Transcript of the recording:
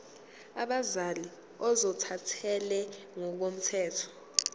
abazali ozothathele ngokomthetho